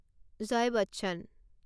Jay Bachchan